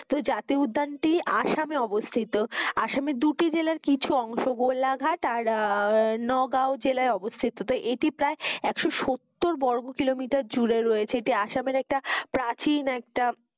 তো জাতীয় উদ্যান টি আসাম এ অবস্থিত আসামের দুটি জেলার কিছু অংশ গোলাঘাট আর আহ নওগাঁয় জেলায় অবস্থিত তো এটি প্রায় একশো সত্তর বর্গ kilometer জুড়ে রয়েছে এটি আসামের একটা প্রাচীন একটা,